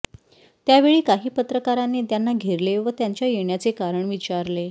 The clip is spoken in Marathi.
त्यावेळी काही पत्रकारांनी त्यांना घेरले व त्यांच्या येण्याचे कारण विचारले